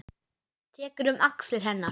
Tekur um axlir hennar.